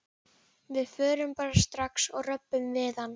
Við förum bara strax og röbbum við hann.